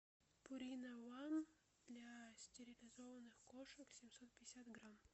пурина ван для стерилизованных кошек семьсот пятьдесят грамм